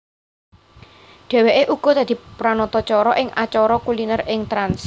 Dheweke uga dadi panatacara ing acara kuliner ing Trans